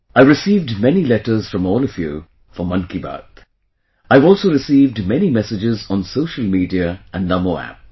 I have received many letters from all of you for 'Mann Ki Baat'; I have also received many messages on social media and NaMoApp